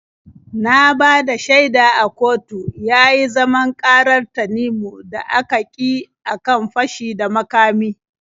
Na bada shaida a kotu yayi zaman ƙarar Tanimu da aka kyi a kan fashi da makami.